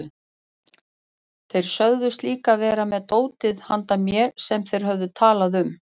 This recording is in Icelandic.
Þeir sögðust líka vera með dótið handa mér sem þeir höfðu talað um.